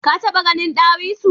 Ka taba ganin dawisu?